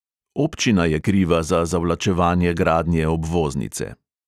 Občina je kriva za zavlačevanje gradnje obvoznice.